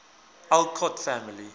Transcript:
alcott family